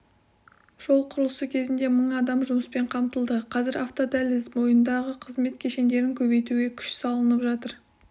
жол құрылысы кезінде мың адам жұмыспен қамтылды қазір автодәліз бойындағы қызмет кешендерін көбейтуге күш салынып жатыр